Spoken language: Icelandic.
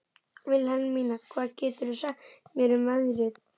Vilhelmína, hvað geturðu sagt mér um veðrið?